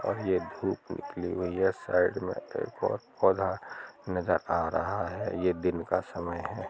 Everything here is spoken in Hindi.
और यह धूप निकली हुई है साइड में एक और पौधा नजर आ रहा है यह दिन का: समय है ।